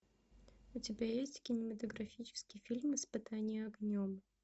у тебя есть кинематографический фильм испытание огнем